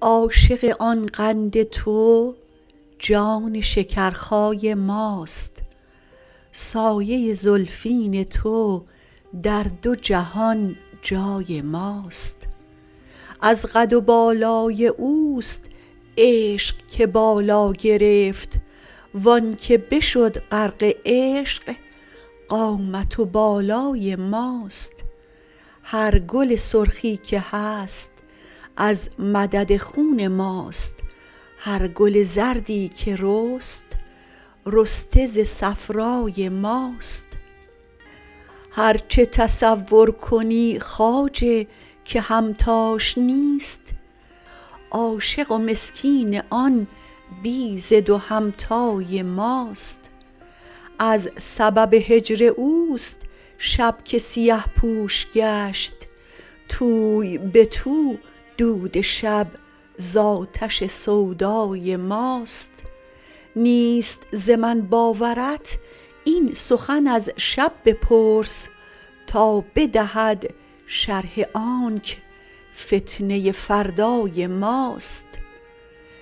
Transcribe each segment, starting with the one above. عاشق آن قند تو جان شکرخای ماست سایه ی زلفین تو در دو جهان جای ماست از قد و بالای اوست عشق که بالا گرفت و آنک بشد غرق عشق قامت و بالای ماست هر گل سرخی که هست از مدد خون ماست هر گل زردی که رست رسته ز صفرای ماست هر چه تصور کنی خواجه که همتاش نیست عاشق و مسکین آن بی ضد و همتای ماست از سبب هجر اوست شب که سیه پوش گشت توی به تو دود شب ز آتش سودای ماست نیست ز من باورت این سخن از شب بپرس تا بدهد شرح آنک فتنه فردای ماست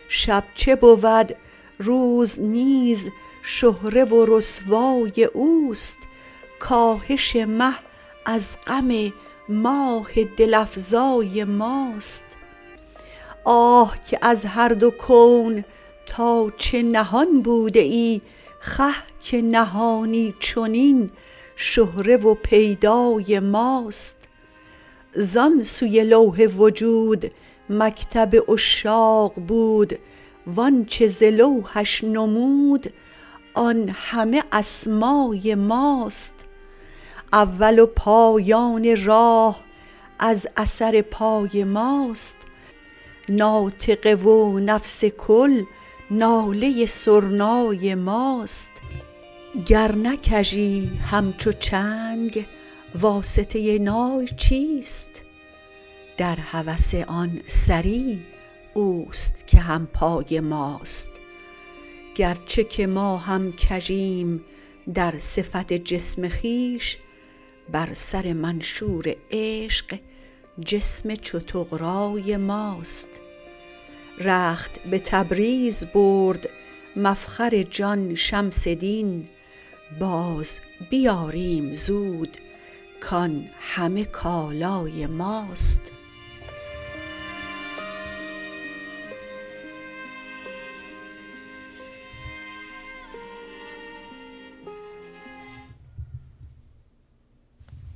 شب چه بود روز نیز شهره و رسوای اوست کاهش مه از غم ماه دل افزای ماست آه که از هر دو کون تا چه نهان بوده ای خه که نهانی چنین شهره و پیدای ماست زان سوی لوح وجود مکتب عشاق بود و آنچ ز لوحش نمود آن همه اسمای ماست اول و پایان راه از اثر پای ماست ناطقه و نفس کل ناله سرنای ماست گر نه کژی همچو چنگ واسطه نای چیست در هوس آن سری اوست که هم پای ماست گرچه که ما هم کژیم در صفت جسم خویش بر سر منشور عشق جسم چو طغرای ماست رخت به تبریز برد مفخر جان شمس دین بازبیاریم زود کان همه کالای ماست